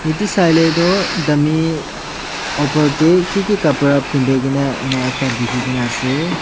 Ete saile tuh dummy opor dae kiki kapra pendaikena ena ekta dekhekena ase.